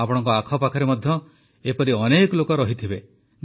ଆପଣଙ୍କ ଆଖପାଖରେ ମଧ୍ୟ ଏପରି ଅନେକ ଲୋକ ରହିଥିବେ